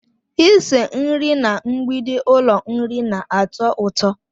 Ịse nri na mgbidi ụlọ nri na-atọ ụtọ